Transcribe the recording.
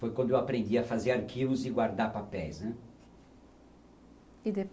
Foi quando eu aprendi a fazer arquivos e guardar papéis, né? E